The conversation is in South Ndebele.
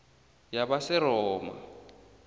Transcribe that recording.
yabaseroma